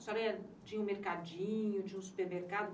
A senhora tinha um mercadinho, tinha um supermercado?